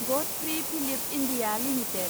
Godfrey Phillips India limited